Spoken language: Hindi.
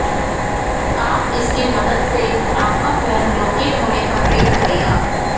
आप इसके मदद से आपका फोन लोकेट होने पर रिंग करेगा